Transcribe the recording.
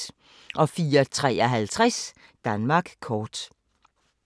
04:53: Danmark kort